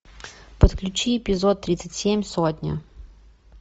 подключи эпизод тридцать семь сотня